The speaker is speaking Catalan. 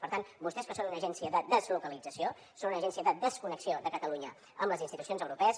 per tant vostès que són una agència de deslocalització són una agència de desconnexió de catalunya amb les institucions europees